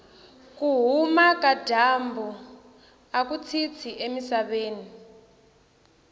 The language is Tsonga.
kuhhuma kajambu akutshintshi emisaveni